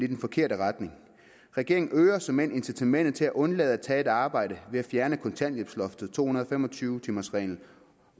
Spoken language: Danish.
den forkerte retning regeringen øger såmænd incitamentet til at undlade at tage et arbejde ved at fjerne kontanthjælpsloftet to hundrede og fem og tyve timers reglen